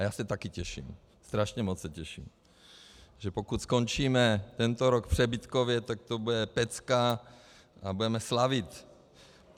A já se taky těším, strašně moc se těším, že pokud skončíme tento rok přebytkově, tak to bude pecka a budeme slavit.